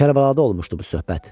Kərbəlada olmuşdu bu söhbət.